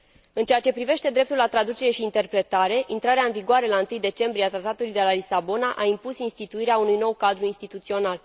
În ceea ce privește dreptul la traducere și interpretare, intrarea în vigoare la 1 decembrie a Tratatului de la Lisabona a impus instituirea unui nou cadru instituțional.